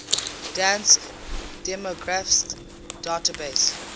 dansk demografisk database